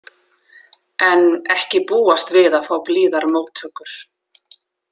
En ekki búast við að fá blíðar móttökur.